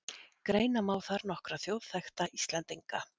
Greina má þar nokkra þjóðþekkta Íslendinga